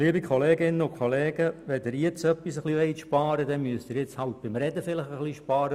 Liebe Kolleginnen und Kollegen, wenn Sie jetzt etwas sparen wollen, dann müssen Sie vielleicht beim Reden ein wenig Zeit einsparen.